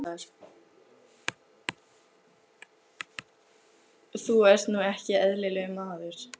Þú ert nú ekki eðlilegur, maður!